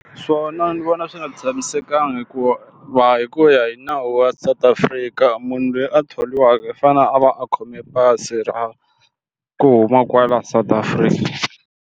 Swona ni vona swi nga tshamisekanga hikuva va hi ku ya hi nawu wa South Africa munhu loyi a thoriwaka i fane a va a khome pasi ra ku huma kwala South Africa.